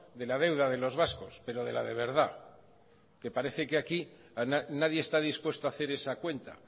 de la deuda de los vascos pero de la de verdad que parece que aquí nadie está dispuesto a hacer esa cuenta